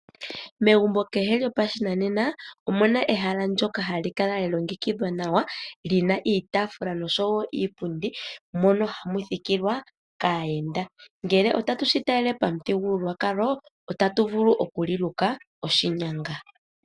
Megumbo kehe lyopashinanena omuna ehala ndyoka hali kala lya longekidhwa nawa lina iitaafula noshowo iipundi mono hamu thikilwa kaayenda. Ngele otatu shi talele pamuthigululwakalo otatu vulu okuli luka oshinyanga.